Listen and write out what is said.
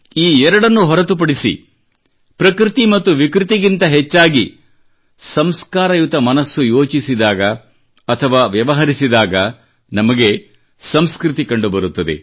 ಈ ಎರಡನ್ನು ಹೊರತುಪಡಿಸಿ ಪ್ರಕೃತಿ ಮತ್ತು ವಿಕೃತಿಗಿಂತ ಹೆಚ್ಚಾಗಿ ಸಂಸ್ಕಾರಯುತ ಮನಸ್ಸು ಯೋಚಿಸಿದಾಗ ಅಥವಾ ವ್ಯವಹರಿಸಿದಾಗ ನಮಗೆ ಸಂಸ್ಕೃತಿ ಕಂಡುಬರುತ್ತದೆ